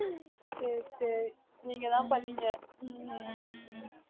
சரி சரி நீங்க தான் பண்ணீங்க உம்